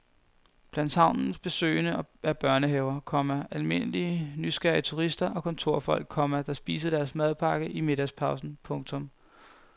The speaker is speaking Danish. Blandt havnens besøgende er børnehaver, komma almindelige nysgerrige turister og kontorfolk, komma der spiser deres madpakke i middagspausen. punktum